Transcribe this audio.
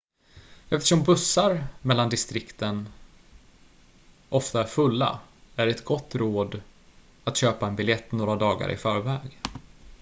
eftersom bussar mellan distriken ofta är fulla är det ett gott råd att köpa en biljett några dagar i förväg